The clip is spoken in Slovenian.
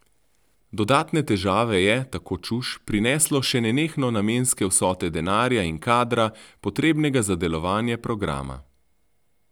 Dodatne težave je, tako Čuš, prineslo še nenehno namenske vsote denarja in kadra, potrebnega za delovanje programa.